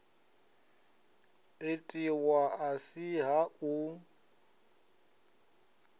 itiwa a si ha u